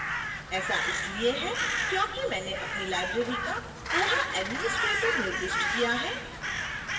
ऐसा इसलिए है क्योंकि मैंने अपनी library का koha administrator निर्दिष्ट किया है